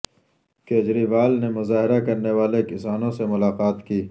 کیجریوال نے مظاہرہ کرنے والے کسانوں سے ملاقات کی